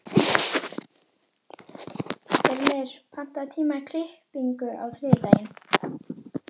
Himri, pantaðu tíma í klippingu á þriðjudaginn.